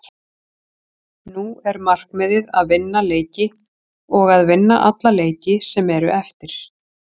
Nú er markmiðið að vinna leiki og að vinna alla leiki sem eru eftir.